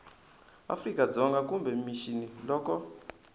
afrika dzonga kumbe mixini loko